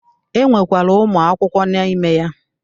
E nwekwara Ụmụ akwụkwọ n'ime ya.